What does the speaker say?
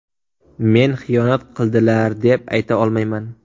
Men xiyonat qildilar, deb ayta olmayman.